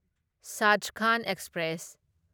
Sachkhand express